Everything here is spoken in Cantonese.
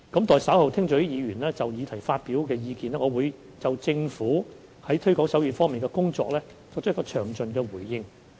待稍後聽取議員就議題發表的意見，我會就政府在推廣手語方面的工作作詳盡的回應。